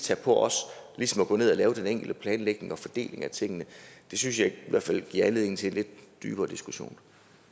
det på os at gå ned og lave den enkelte planlægning og fordeling af tingene det synes jeg i hvert fald giver anledning til en lidt dybere diskussion